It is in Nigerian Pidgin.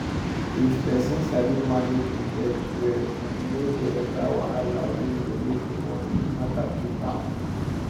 if person sabi manage im debt well e no go enter wahala wey go make d money matter choke am